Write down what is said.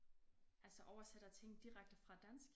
Altså oversætter ting direkte fra dansk?